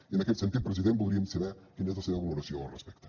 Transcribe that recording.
i en aquest sentit president voldríem saber quina és la seva valoració al respecte